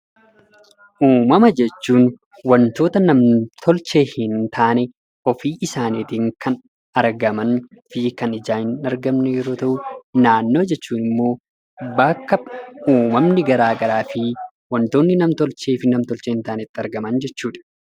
Uumama jechuun wantoota nam-tolchee hin taanee ofii isaaniitiin kan argaman fi kan ijaan hin argamne yeroo ta'uu; naannoo jechuun immoo bakka uumamni garaa garaa fi wantoota nam-tolchee fi nam-tolchee hin taanee itti argaman jechuudha.